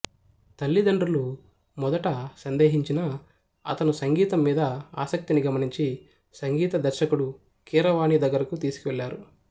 తల్లిదండ్రులు మొదట సందేహించినా అతను సంగీతం మీద ఆసక్తిని గమనించి సంగీత దర్శకుడు కీరవాణి దగ్గరకు తీసుకెళ్ళారు